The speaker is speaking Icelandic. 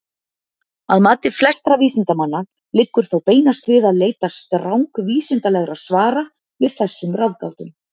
Að mati flestra vísindamanna liggur þó beinast við að leita strangvísindalegra svara við þessum ráðgátum.